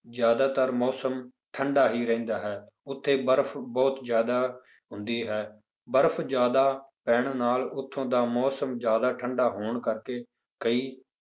ਜ਼ਿਆਦਾਤਰ ਮੌਸਮ ਠੰਢਾ ਹੀ ਰਹਿੰਦਾ ਹੈ, ਉੱਥੇ ਬਰਫ਼ ਬਹੁਤ ਜ਼ਿਆਦਾ ਹੁੰਦੀ ਹੈ, ਬਰਫ਼ ਜ਼ਿਆਦਾ ਪੈਣ ਨਾਲ ਉੱਥੋਂ ਦਾ ਮੌਸਮ ਜ਼ਿਆਦਾ ਠੰਢਾ ਹੋਣ ਕਰਕੇ ਕਈ